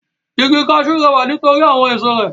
Igi kaṣú rẹwà nít'orí àwọn èso rẹ̀.